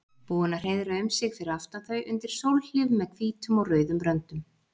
Búin að hreiðra um sig fyrir aftan þau undir sólhlíf með hvítum og rauðum röndum.